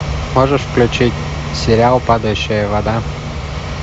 можешь включить сериал падающая вода